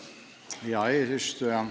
Hea eesistuja!